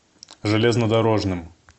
железнодорожным